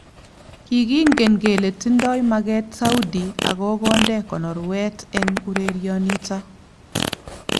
Kikengen kele tindoi maket Saudi akokonde konorwet eng urenionito ."